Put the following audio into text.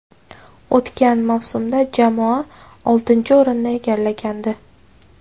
O‘tgan mavsumda jamoa oltinchi o‘rinni egallagandi.